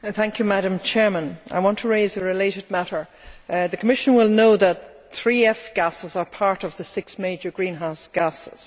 Madam President, I want to raise a related matter. The Commission will know that three F' gases are among the six major greenhouse gases.